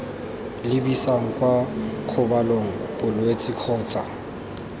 lebisang kwa kgobalong bolwetse kgotsa